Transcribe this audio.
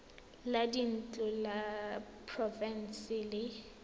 la dintlo la porofense le